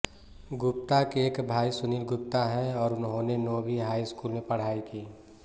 गुप्ता के एक भाई सुनील गुप्ता हैं और उन्होंने नोवी हाई स्कूल में पढ़ाई की